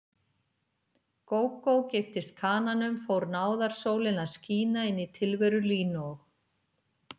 Gógó giftist kananum fór náðarsólin að skína inní tilveru Línu og